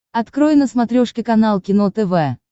открой на смотрешке канал кино тв